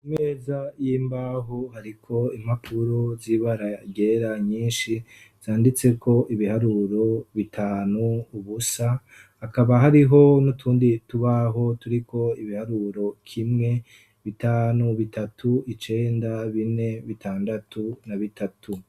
Imeza y'imbahoo iriko impapuro z'ibara ryera nyinshi zanditseko ibiharuro bitanu, ubusa, hakaba hariho n'utundi tubaho turiko ibiharuro kimwe, bitanu, bitatu, icenda, bine, bitandatu na bitatu.